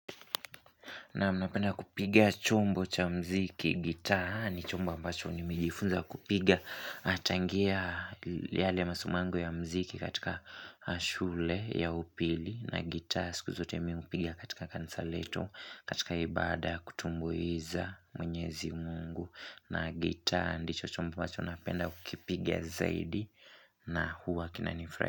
Naam napenda kupiga chombo cha muziki gitaa ni chombo ambacho nimejifunza kupiga tangia yale masimangoo ya muziki katika shule ya upili na gitaa siku zote mi hupiga katika kanisa letu katika ibada kutumbuiza mwenyezi mungu na gitaa ndicho chombo ambacho napenda kupiga zaidi na huwa kinanifura.